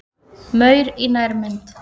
Maur í nærmynd.